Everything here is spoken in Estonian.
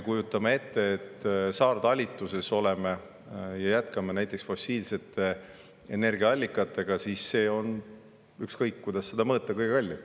Kujutame ette, et me oleme saartalitluses ja jätkame näiteks fossiilsete energiaallikatega – see on, ükskõik kuidas seda mõõta, kõige kallim.